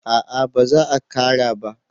A'a ba za a kara ba